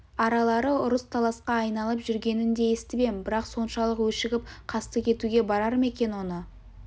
аралары ұрыс-таласқа айналып жүргенін де естіп ем бірақ соншалық өшігіп қастық етуге барар ма екен оны